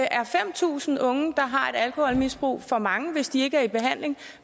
er fem tusind unge der har et alkoholmisbrug for mange hvis de ikke er i behandling